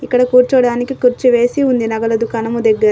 ఇక్కడ కూర్చోవడానికి కుర్చీ వేసి ఉంది నగల దుకాణము దగ్గర.